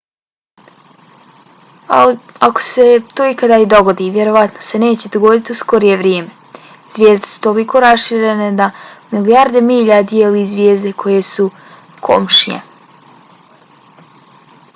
ali ako se to ikada i dogodi vjerojatno se neće dogoditi u skorije vrijeme. zvijezde su toliko raširene da milijarde milja dijeli zvijezde koje su komšije